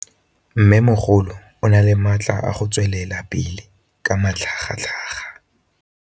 Mmêmogolo o na le matla a go tswelela pele ka matlhagatlhaga.